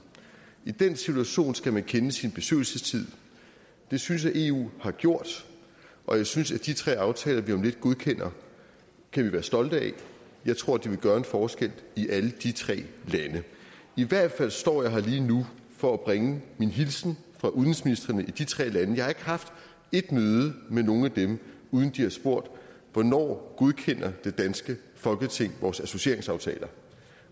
i den situation skal man kende sin besøgelsestid det synes jeg eu har gjort og jeg synes at de tre aftaler vi om lidt godkender kan vi være stolte af jeg tror de vil gøre en forskel i alle de tre lande i hvert fald står jeg her lige nu for at bringe min hilsen fra udenrigsministrene i de tre lande jeg har ikke haft et møde med nogen af dem uden at de har spurgt hvornår godkender det danske folketing vores associeringsaftaler